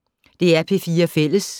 DR P4 Fælles